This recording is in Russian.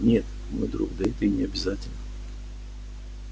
нет мой друг да это и не обязательно